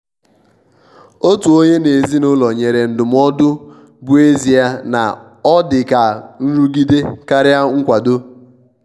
otu onye n' ezinụlọ nyere ndụmọdụọ bụ ezie na o dị ka nrụgide karịa nkwado.